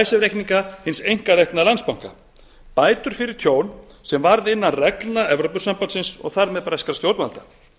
icesave reikninga hins einkarekna landsbanka bætur fyrir tjón sem varð innan reglna evrópusambandsins og þar með breskra stjórnvalda